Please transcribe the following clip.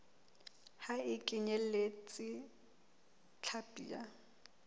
ha e kenyeletse hlapi ya